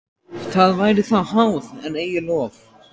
Það væri þá háð, en eigi lof.